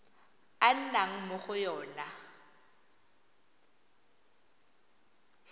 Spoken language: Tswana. a nnang mo go yona